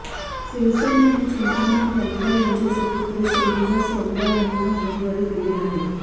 शिवसेनेने चिमामण वनगा यांचे सुपुत्र श्रीनिवास वनगा यांना उमेदवारी दिली आहे